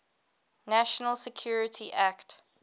national security act